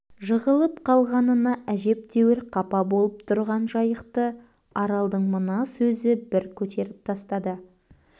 жығылып қалғанына әжептеуір қапа болып тұрған жайықты аралдың мына сөзі бір көтеріп тастады